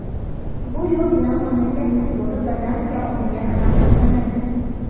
Bu yo‘l bilan mamlakat futboli birdaniga oldinga qadam tashlamaydi.